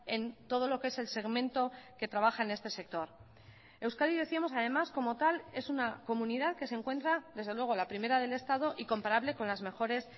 en todo lo que es el segmento que trabaja en este sector euskadi decíamos además como tal es una comunidad que se encuentra desde luego la primera del estado y comparable con las mejores